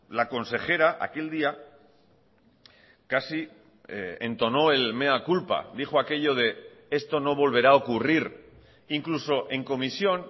la consejera aquel día casi entonó el mea culpa dijo aquello de esto no volverá a ocurrir incluso en comisión